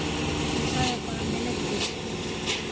Ég sagði bara að mér leiddist.